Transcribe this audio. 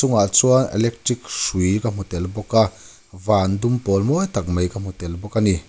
chungah chuan electric hrui ka hmutel bawk a van dumpawl mawitak mai ka hmutel bawk a ni.